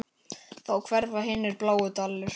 Þá hverfa hinir bláu dalir.